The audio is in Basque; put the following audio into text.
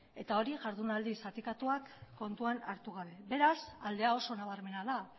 eta hori jarduera zatikatuak kontuan hartu gabe beraz aldea oso nabarmena da